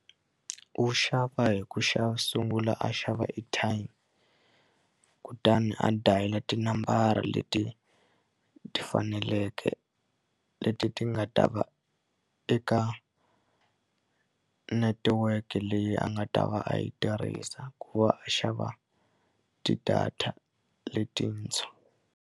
U xava hi ku sungula a xava airtime kutani a dayila tinambara leti ti faneleke leti ti nga va ta va eka netiweke leyi a nga ta va a yi tirhisa ku va a xava ti-data letintshwa.